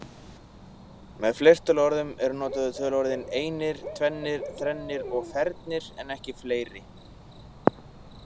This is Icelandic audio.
Með fleirtöluorðum eru notuð töluorðin „einir, tvennir, þrennir“ og „fernir“ en ekki fleiri.